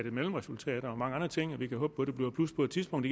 et mellemresultat og mange andre ting og vi kan håbe på det bliver et plus på et tidspunkt